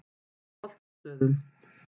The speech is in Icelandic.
Holtastöðum